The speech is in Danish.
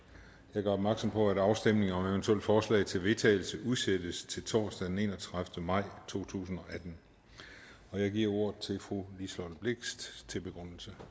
jeg gør opmærksom på at afstemning om eventuelle forslag til vedtagelse udsættes til torsdag den enogtredivete maj to tusind og atten jeg giver ordet til fru liselott blixt til begrundelse